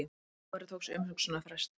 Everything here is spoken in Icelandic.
Dómari tók sér umhugsunarfrest